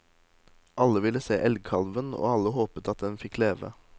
Alle ville se elgkalven, og alle håpet at den fikk leve.